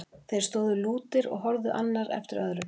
Þeir stóðu lútir og horfði annar eftir öðrum.